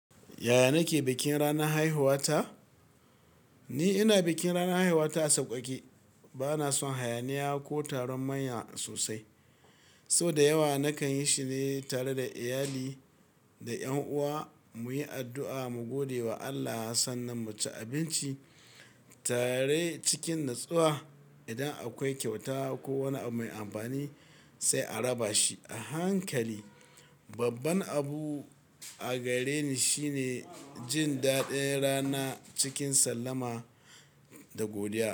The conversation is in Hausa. Yaya nake bikin ranar haihuwa ta? Ni ina bikin ranar haihuwa ta a sauƙaƙe. Bana son hayaniya ko taron manya sosai. So da yawa nakan yi shine tare da iyali da ƴan uwa muyi addu'a mu gode wa Allah sannan mu ci abinci tare cikin natsuwa. Idan akwai kyauta ko wani abu mai amfani sai a raba shi a hankali. Babban abu a gare ni shine jin daɗin rana cikin sallama da godiya.